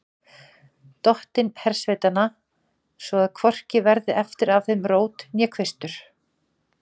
Dottinn hersveitanna, svo að hvorki verði eftir af þeim rót né kvistur.